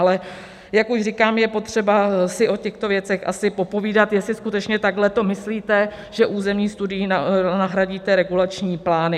Ale jak už říkám, je potřeba si o těchto věcech asi popovídat, jestli skutečně takhle to myslíte, že územní studií nahradíte regulační plány.